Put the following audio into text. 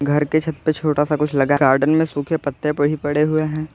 घर के छत पर छोटा सा कुछ लगा गार्डेन में सूखे पत्ते भी पड़े हुए हैं।